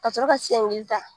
Ka sɔrɔ ka ta